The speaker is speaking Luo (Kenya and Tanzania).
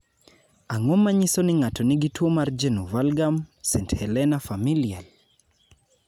Ang�o ma nyiso ni ng�ato nigi tuo mar Genu valgum, st Helena familial?